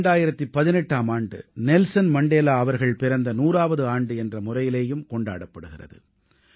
2018ஆம் ஆண்டு Nelson Mandela அவர்கள் பிறந்த நூறாவது ஆண்டு என்ற முறையிலேயும் கொண்டாடப்படுகிறது